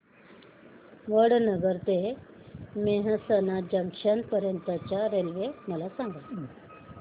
वडनगर ते मेहसाणा जंक्शन पर्यंत च्या रेल्वे मला सांगा